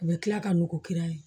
U bɛ tila ka nugu kiri